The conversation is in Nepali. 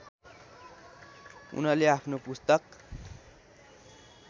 उनले आफ्नो पुस्तक